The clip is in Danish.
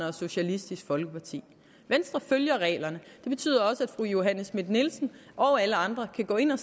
og socialistisk folkeparti venstre følger reglerne og det betyder også at fru johanne schmidt nielsen og alle andre kan gå ind og